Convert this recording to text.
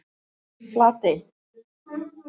Flatey